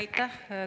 Aitäh!